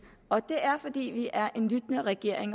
og det er fordi vi er en lyttende regering